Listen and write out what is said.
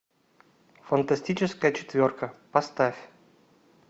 фантастическая четверка поставь